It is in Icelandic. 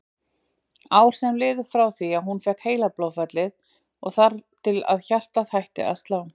Ár sem liðu frá því hún fékk heilablóðfallið og þar til hjartað hætti að slá.